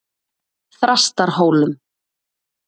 Þrastarhólum